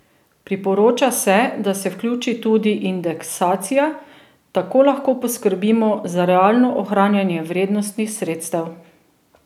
Priporoča se, da se vključi tudi indeksacija, tako lahko poskrbimo za realno ohranjanje vrednosti sredstev.